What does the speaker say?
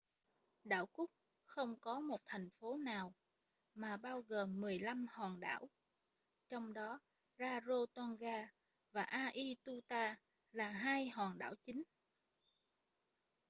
quần đảo cook không có một thành phố nào mà bao gồm 15 hòn đảo trong đó rarotonga và aituta là hai hòn đảo chính